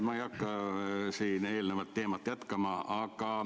Ma ei hakka siin eelnevat teemat jätkama.